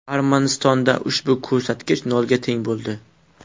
Armanistonda ushbu ko‘rsatkich nolga teng bo‘ldi.